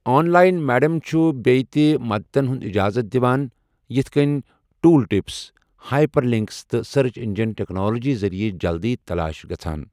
On line medium چھُ بیٚیہِ تہِ مدتن ہٗند اجازت دِوان، یِتھ کٔنہِ ٹوُل ٹِپس، ہائپر لِنکس، تہٕ سرچ انجن ٹیکنالوجی ذٔریعہٕ جلدٕۍ تلاش گژھان۔